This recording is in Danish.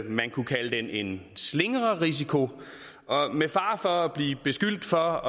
man kunne kalde den en slingrerisiko og med fare for at blive beskyldt for